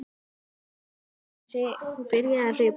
Hann skimaði í kringum sig og byrjaði að hlaupa.